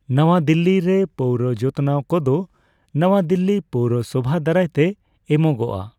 ᱱᱟᱣᱟ ᱫᱤᱞᱞᱤ ᱨᱮ ᱯᱳᱣᱨᱚ ᱡᱚᱛᱱᱟᱣ ᱠᱚᱫᱚ ᱱᱟᱣᱟ ᱫᱤᱞᱞᱤ ᱯᱳᱣᱨᱚ ᱥᱚᱵᱷᱟ ᱫᱟᱨᱟᱭ ᱛᱮ ᱮᱢᱚᱜᱚᱜᱼᱟ ᱾